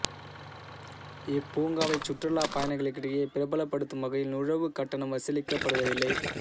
இப்பூங்காவைச் சுற்றுலாப் பயணிகளிடையே பிரபலப்படுத்தும் வகையில் நுழைவுக் கட்டணம் வசூலிக்கப்படுவதில்லை